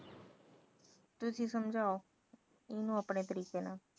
ਤੁਸੀ ਸਮਝਾਓ ਆਪਣੇ ਤਰੀਕੇ ਨਾਲ